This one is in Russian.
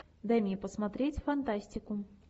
дай мне посмотреть фантастику